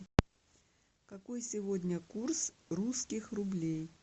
какой сегодня курс русских рублей